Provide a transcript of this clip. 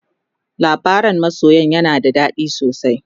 labaran masoyan yana da dadi sosai